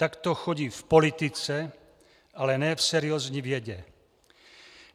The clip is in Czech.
Tak to chodí v politice, ale ne v seriózní vědě.